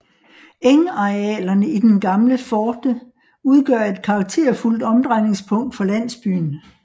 Engarealerne i den gamle forte udgør et karakterfuldt omdrejningspunkt for landsbyen